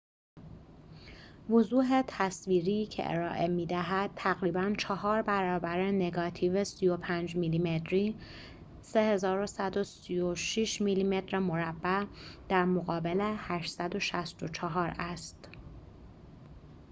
وضوح تصویری که ارائه می‌دهد تقریباً چهار برابر نگاتیو 35 میلی‌متری 3136 میلی‌متر مربع در مقابل 864 است